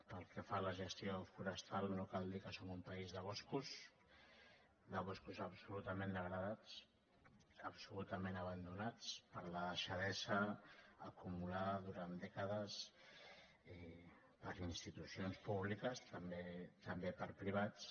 pel que fa a la gestió forestal no cal dir que som un país de boscos de boscos absolutament degradats ab·solutament abandonats per la deixadesa acumulada durant dècades i per institucions públiques també per privats